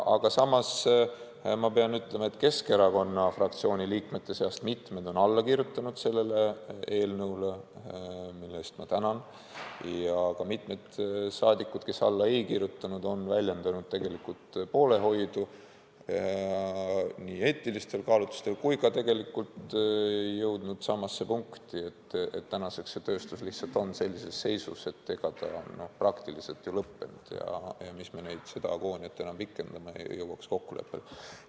Aga samas pean ütlema, et Keskerakonna fraktsiooni liikmete seast on mitmed alla kirjutanud sellele eelnõule, mille eest ma tänan, ja ka mitmed saadikud, kes alla ei kirjutanud, on väljendanud poolehoidu nii eetilistel kaalutlustel kui ka on jõudnud samasse punkti, et tänaseks see tööstus lihtsalt on sellises seisus, et ta on praktiliselt ju lõppenud ja mis me seda agooniat enam pikendame, et jõuaks kokkuleppele.